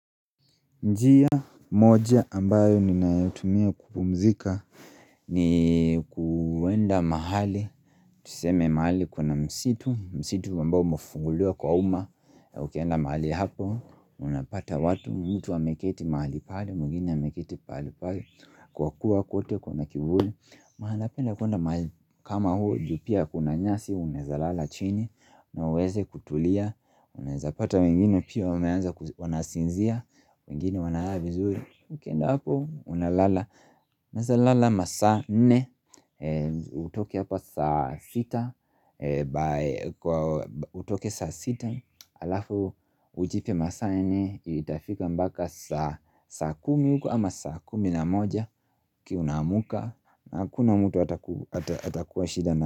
Njia moja ambayo ninayotumia kupumzika ni kuenda mahali, tuseme mahali kuna msitu, msitu ambao umefunguliwa kwa uma, ukienda mahali hapo, unapata watu, mtu ameketi mahali pale, mwengine ameketi pahali pale, kwa kuwa kote kuna kivuli. Maana penda kwenda kama huu juu pia kuna nyasi unaweza lala chini. Na uweze kutulia. Unawezapata wengine pia wameanza wanasinzia. Wengine wanalala vizuri ukienda hapo unalala. Unaweza lala masaa nne. Utoke hapa saa sita. Kwa utoke saa sita. Alafu ujipe masaa nne. Itafika mpaka saa kumi huko ama saa kumi na moja ukiwa una muka. Na hakuna mtu atakuwa shida na.